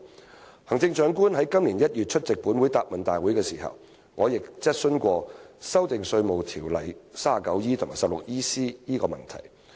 在行政長官今年1月出席本會的答問會時，我便就修訂《稅務條例》第 39E 條及第 16EC 條提出質詢。